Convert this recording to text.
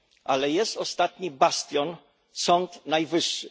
Ale jest ostatni bastion Sąd Najwyższy.